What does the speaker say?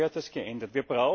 Deshalb gehört das geändert.